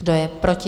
Kdo je proti?